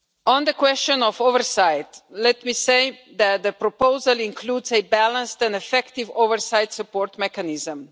On the question of oversight, let me say that the proposal includes a balanced and effective oversight support mechanism.